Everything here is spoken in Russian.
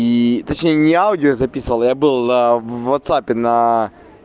и точнее не аудио я записывал я был а в ватсапе на